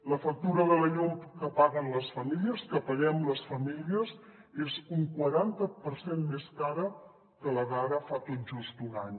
la factura de la llum que paguen les famílies que paguem les famílies és un quaranta per cent més cara que la d’ara fa tot just un any